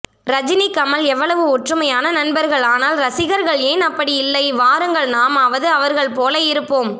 ரஜினி கமல் எவ்வளவு ஒற்றுமையான நண்பர்கள் ஆனால் ரசிகர்கள் ஏன் அப்படியில்லை வாருங்கள் நாமாவது அவர்கள் போல இருப்போம்